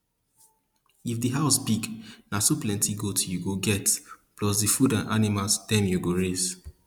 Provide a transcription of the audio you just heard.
if di house big na so plenty goat you go get plus di food and animals dem you go raise